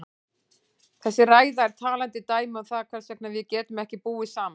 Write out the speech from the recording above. Þessi ræða er talandi dæmi um það hvers vegna við getum ekki búið saman.